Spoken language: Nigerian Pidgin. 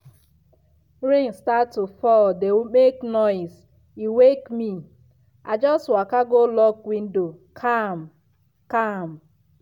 rain start to fall dey make noise e wake me. i just waka go lock window calm-calm.